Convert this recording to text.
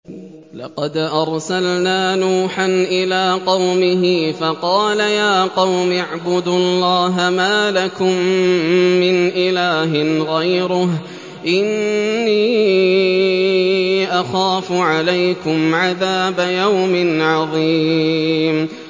لَقَدْ أَرْسَلْنَا نُوحًا إِلَىٰ قَوْمِهِ فَقَالَ يَا قَوْمِ اعْبُدُوا اللَّهَ مَا لَكُم مِّنْ إِلَٰهٍ غَيْرُهُ إِنِّي أَخَافُ عَلَيْكُمْ عَذَابَ يَوْمٍ عَظِيمٍ